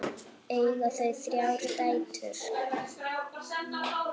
Eiga þau þrjár dætur.